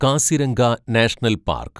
Kaziranga national park